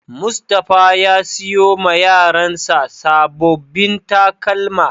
Mustapha ya siyo ma Yaran sa sabobin takalma.